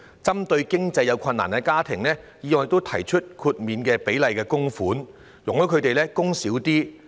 為協助有經濟困難的家庭，議案亦提出設立豁免比例供款，容許該等家庭減少供款。